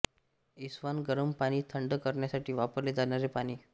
इस्वान गरम पाणी थंड करण्यासाठी वापरले जाणारे पाणी